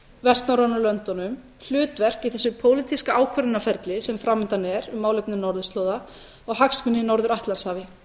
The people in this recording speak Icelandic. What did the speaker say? vestnorrænu löndunum hlutverk í þessu pólitíska ákvörðunarferli sem framundan er um málefni norðurslóða og hagsmuni á norður atlantshafi